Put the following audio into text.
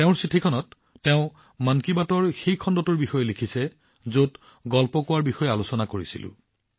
তেওঁৰ চিঠিখনত তেওঁ মন কী বাতৰ সেই খণ্ডটোৰ বিষয়ে লিখিছে যত আমি কাহিনী কোৱাৰ বিষয়ে আলোচনা কৰিছিলোঁ